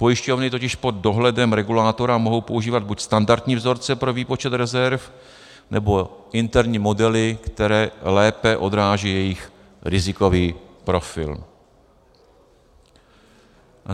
Pojišťovny totiž pod dohledem regulátora mohou používat buď standardní vzorce pro výpočet rezerv, nebo interní modely, které lépe odrážejí jejich rizikový profil.